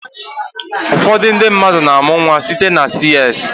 Ụfọdụ ndị mmadụ na-amụ nwa site na CS.